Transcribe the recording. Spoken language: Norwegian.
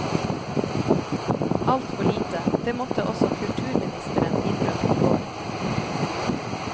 Alt for lite, det måtte også kulturministeren innrømme i går.